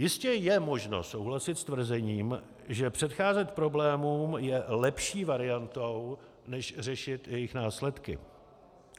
Jistě je možno souhlasit s tvrzením, že předcházet problémům je lepší variantou než řešit jejich následky.